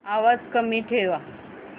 आवाज कमी ठेवा